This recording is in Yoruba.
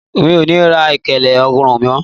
Mi ò ní ra ilẹ̀kẹ̀ ọrùn mó.